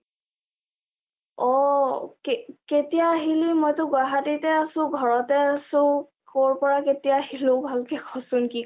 অ কেতিয়া আহিলি মইটো গুৱাহাটিতে আছো, ঘৰতে আছো, কৰ পৰা কোতিয়া আহিলো ভালকে কচোন কি কয় আচ